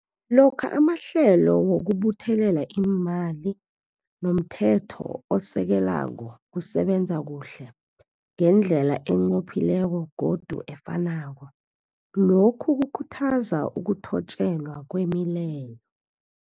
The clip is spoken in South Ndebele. Lokha amahlelo wokubuthelela iimali nomthetho osekelako kusebenza kuhle, ngendlela enqophileko godu efanako, lokhu kukhuthaza ukuthotjelwa kwemileyo.